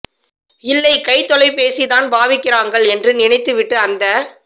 இல்லை கைத்தொலைபேசி தான் பாவிக்கிறாங்கள் என்று நினைத்து விட்டு அந்த